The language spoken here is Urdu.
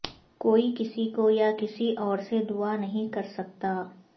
کوئی کسی کو یا کسی اور سے دعا نہیں کرسکتا